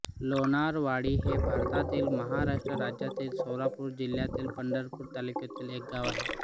लोणारवाडी हे भारतातील महाराष्ट्र राज्यातील सोलापूर जिल्ह्यातील पंढरपूर तालुक्यातील एक गाव आहे